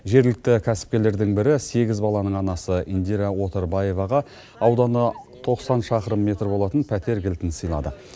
жергілікті кәсіпкерлердің бірі сегіз баланың анасы индира отарбаеваға ауданы тоқсан шақырым метр болатын пәтер кілтін сыйлады